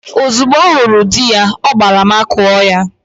Ozugbo ọ hụrụ di ya, ọ gbagara makụọ ya.